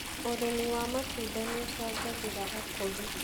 ũrĩmi wa matunda nĩuchangagiria ukuri